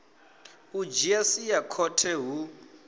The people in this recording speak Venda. u dzhia sia khothe hu